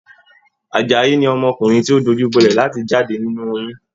Àjàyí ni ọmọkùnrin ti o dojubolẹ láti jáde nínú oyún.